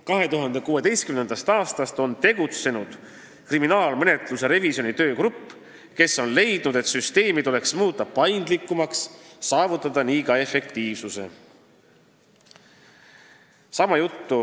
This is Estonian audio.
2016. aastast on tegutsenud kriminaalmenetluse revisjoni töögrupp, kes on leidnud, et süsteemi tuleks muuta paindlikumaks, saavutades nii ka efektiivsuse.